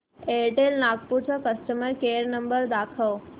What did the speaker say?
Airtel Nagpur चा customer care number दाखव